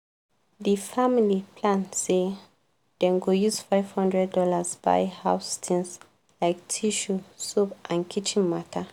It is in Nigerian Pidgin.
di family plan say dem go use five hundred dollars buy house things like tissue soap and kitchen matter.